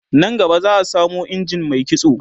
nan gaba za'a samo injin Mai kitso